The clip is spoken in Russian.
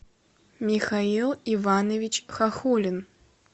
михаил иванович хохулин